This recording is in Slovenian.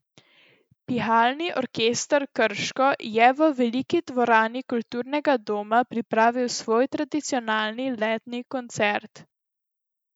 Pihalni orkester Krško je v veliki dvorani Kulturnega doma pripravil svoj tradicionalni letni koncert.